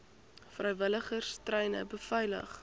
vrywilligers treine beveilig